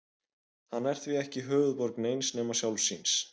Hann er því ekki höfuðborg neins nema sjálfs sín.